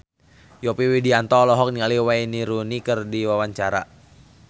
Yovie Widianto olohok ningali Wayne Rooney keur diwawancara